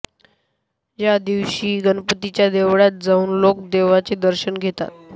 या दिवशी गणपतीच्या देवळात जाऊन लोक देवाचे दर्शन घेतात